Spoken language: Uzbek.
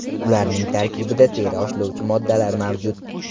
Ularning tarkibida teri oshlovchi moddalar mavjud.